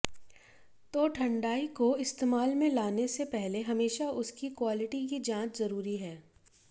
तो ठंडाई को इस्तेमाल में लाने से पहले हमेशा उसकी क्वालिटी की जांच जरूरी है